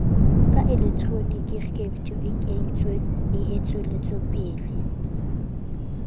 ka elektroniki ceftu e entsetswelopele